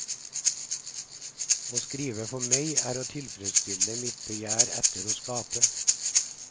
Å skrive er for meg å tilfredsstille mitt begjær etter å skape.